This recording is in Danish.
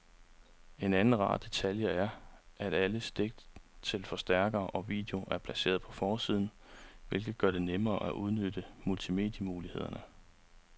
En anden rar detalje er, at alle stik til forstærker og video er placeret på forsiden, hvilket gør det nemmere at udnytte multimedie-mulighederne.